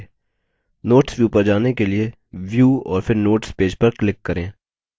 notes view पर जाने के लिए view और फिर notes page पर click करें